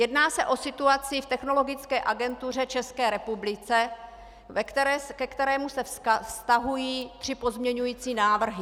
Jedná se o situaci v Technologické agentuře České republiky, ke které se vztahují tři pozměňující návrhy.